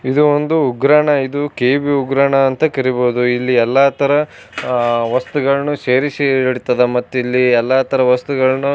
ಇದು ಒಂದು ಉಗ್ರಾಣ ಇದು ಕೆಬಿ ಉಗ್ರಾಣ ಅಂತ ಕರೀಬೋದು ಇಲ್ಲಿ ಎಲ್ಲ ತರ ಆ ವಸ್ತುಗಳನ್ನ ಸೇರಿಸಿ ಇಡ್ತದ ಮತ್ತೆ ಇಲ್ಲಿ ಎಲ್ಲ ತರ ವಸ್ತುಗಳನ್ನು--